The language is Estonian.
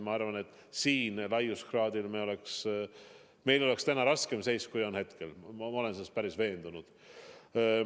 Ma arvan, et siis oleks meil siin laiuskraadil praegune seis raskem, kui see hetkel on, ma olen selles päris veendunud.